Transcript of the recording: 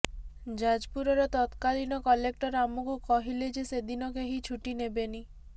ଯାଜପୁରର ତତ୍କାଳୀନ କଲେକ୍ଟର ଆମକୁ କହିଲେ ଯେ ସେଦିନ କେହି ଛୁଟି ନେବେନି